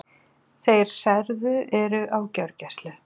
Þeir særðu eru á gjörgæslu